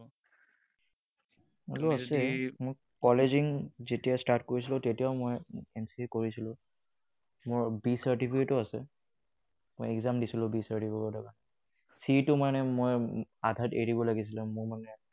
Value আছে। মোৰ college যেতিয়া start কৰিছিলো, তেতিয়াও মই NCC এ কৰিছিলো। মোৰ B certificate ও আছে। মই exam দিছিলো B certificate ৰ কাৰণে। C টো মানে মই আধাত এৰিব লাগিছিলে মানে মই